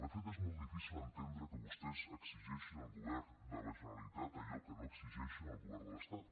de fet és molt difícil entendre que vostès exigeixin al govern de la generalitat allò que no exigeixen al govern de l’estat